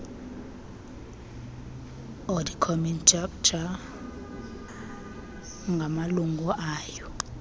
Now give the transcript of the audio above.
auditcommitteecharter ngamalungu ayo